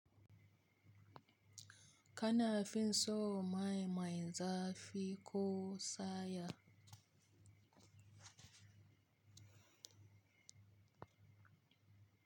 Kana fi so mai mai zafi ko saya?